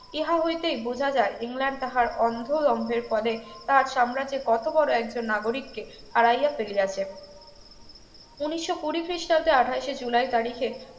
ইহা হইতেই বোঝা যায় ইংল্যান্ড তাহার অন্ধ দ্বন্দ্বের ফলে তার সাম্রাজ্যের কত বড় একজন নাগরিককে হারাইয়া ফেলিয়াছে উনিশশো কুড়ি খ্রিস্টাব্দে আঠাশে জুলাই তারিখে